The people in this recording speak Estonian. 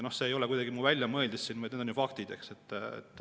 Ja see ei ole kuidagi minu väljamõeldis, vaid need on faktid.